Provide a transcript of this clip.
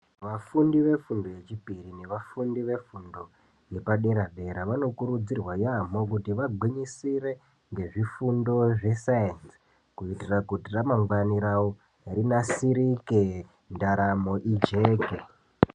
Vafundi vefundo yechipiri nevafundi vefundo yepadera dera, vanokurudzirwa yamo kuti vabwinyisire ngezvifundo zvesayensi kuitira kuti ramangwane ravo rinasirike ndaramo ijeke.